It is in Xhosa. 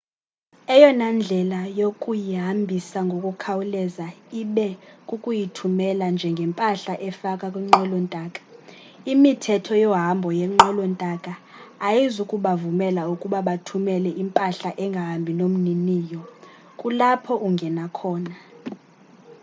eyona ndlela yokuyihambisa ngokukhawuleza ibe kukuyithumela njengempahla efakwa kwinqwelo ntaka imithetho yohambo ngenqwelo ntaka ayizukubavumela ukuba bathumele impahla engahambi nomniniyo kulapho ungena khona